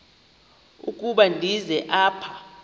ukuba ndize apha